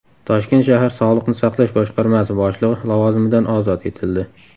Toshkent shahar Sog‘liqni saqlash boshqarmasi boshlig‘i lavozimidan ozod etildi.